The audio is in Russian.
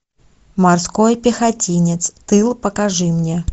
морской пехотинец тыл покажи мне